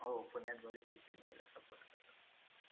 हो पुण्यात बरेचसे चेन्नई support करतात.